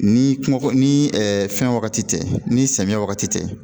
Ni kungo ni fɛn wagati tɛ ni samiya wagati tɛ